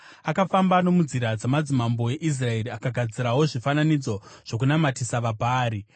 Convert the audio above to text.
Akafamba nomunzira dzamadzimambo eIsraeri akagadzirawo zvifananidzo zvokunamatisa vaBhaari.